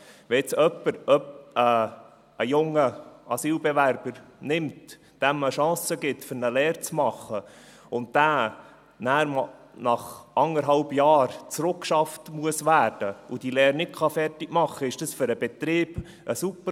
Wenn jetzt jemand einen jungen Asylbewerber nimmt, diesem eine Chance gibt, eine Lehre zu machen, und dieser nachher nach eineinhalb Jahren rückgeschafft werden muss und diese Lehre nicht fertig machen kann, ist dies für den Betrieb ein Super-GAU.